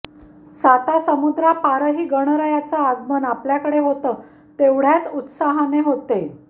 साता समुद्रापारही गणरायाचं आगमन आपल्याकडे होतं तेवढ्याच उत्साहाने होते